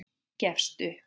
Gefst upp.